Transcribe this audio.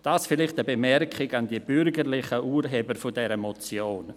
dies vielleicht eine Bemerkung an die bürgerlichen Urheber dieser Motion.